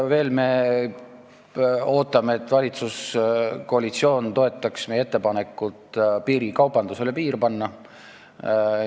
Veel me ootame, et valitsuskoalitsioon toetaks meie ettepanekut piirikaubandusele piir panna.